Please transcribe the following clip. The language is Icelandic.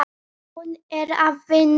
Hún er að vinna núna.